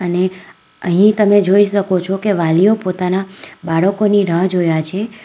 અહીં અહીં તમે જોઈ શકો છો કે વાલીઓ પોતાના બાળકોની રાહ જોયા છે.